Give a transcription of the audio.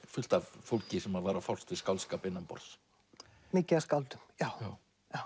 fullt af fólki sem var að fást við skáldskap innanborðs mikið af skáldum já